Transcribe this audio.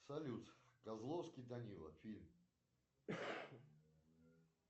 салют козловский данила фильм